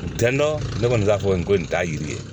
Tɛ dɔn ne kɔni b'a fɔ n ko nin t'a yiri ye